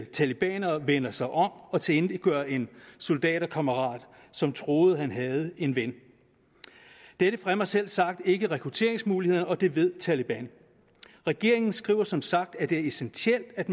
talebaner vender sig om og tilintetgør en soldaterkammerat som troede at han havde en ven dette fremmer selvsagt ikke rekrutteringsmulighederne og det ved taleban regeringen skriver som sagt at det er essentielt at